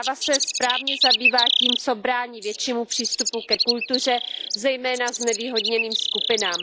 Zpráva se správně zabývá tím, co brání většímu přístupu ke kultuře, zejména znevýhodněným skupinám.